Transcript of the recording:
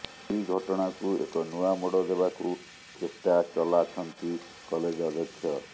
ଏହି ଘଟଣାକୁ ଏକ ନୂଆ ମୋଡ଼ ଦେବାକୁ ଚେଷ୍ଟା ଚଲାଛନ୍ତି କଲେଜ ଅଧ୍ୟକ୍ଷ